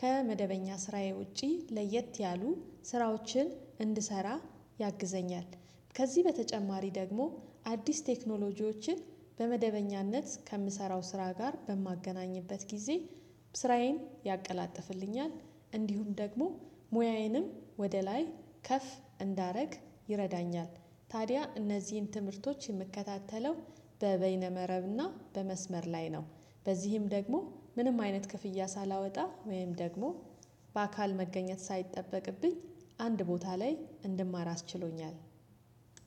ከመደበኛ ስራዬ ውጪ ለየት ያሉ ስራዎችን እንድሰራ ያግዘኛል። ከዚህ በተጨማሪ ደግሞ አዲስ ቴክኖሎጂዎችን በመደበኛነት ከምሰራው ስራ ጋር በማገናኝበት ጊዜ ስራዬን ያቀላጥፍልኛል። እንዲሁም ደግሞ ሙያዬንም ወደ ላይ ከፍ እንዳደረግ ይረዳኛል። ታዲያ እነዚህን ትምህርቶች የምከታተለው በበይነ መረብና በመስመር ላይ ነው። በዚህም ደግሞ ምንም አይነት ክፍያ ሳላወጣ ወይም ደግሞ በአካል መገኘት ሳይጠበቅብኝ አንድ ቦታ ላይ እንድማር አስችሎኛል።